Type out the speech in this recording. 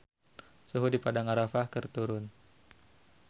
Suhu di Padang Arafah keur turun